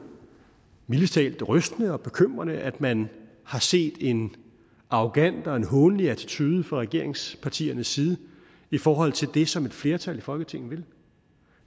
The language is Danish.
mildest talt rystende og bekymrende at man har set en arrogant og hånlig attitude fra regeringspartiernes side i forhold til det som et flertal i folketinget vil